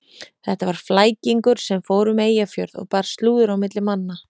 Þetta var flækingur sem fór um Eyjafjörð og bar slúður á milli manna.